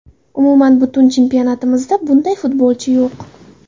Umuman, butun chempionatimizda bunday futbolchi yo‘q.